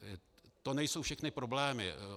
To nejsou všechny problémy.